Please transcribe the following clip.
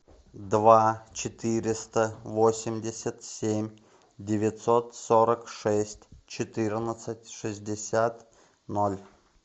два четыреста восемьдесят семь девятьсот сорок шесть четырнадцать шестьдесят ноль